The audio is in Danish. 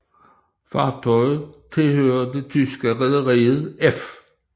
Fartøjet tilhørte det tyske rederi F